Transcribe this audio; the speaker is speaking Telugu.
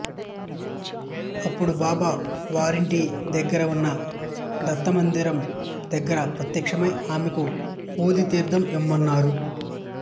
అప్పుడు బాబా వారింటి దగ్గర ఉన్న దత్తమందిరం దగ్గర ప్రత్యక్షమై ఆమెకు ఊదీ తీర్ధము ఇవ్వమన్నారు